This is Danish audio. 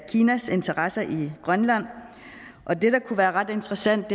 kinas interesser i grønland og det der kunne være ret interessant